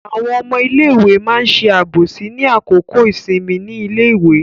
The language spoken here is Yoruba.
Àwọn ọmọ iléèwé ma ṣe àbòsí ní àkókò ìsinmi ní iléèwé.